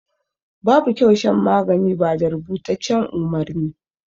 Babu kyau shan magani ba da rubutaccen umarni.